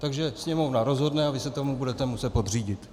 Takže Sněmovna rozhodne a vy se tomu budete muset podřídit.